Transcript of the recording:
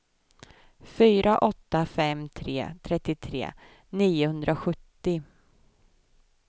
fyra åtta fem tre trettiotre niohundrasjuttio